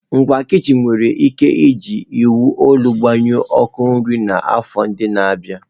Ngwa kichin nwere ike iji iwu olu gbanyụọ ọkụ nri n'afọ ndị na-abịa.